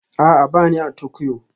A'a, ba ni a Tokyo